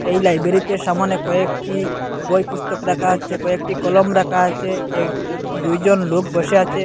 এই লাইব্রেরিতে সামোনে কয়েকটি বই পুস্তক রাখা আছে কয়েকটি কলম রাখা আছে এই দুইজন লোক বসে আছে।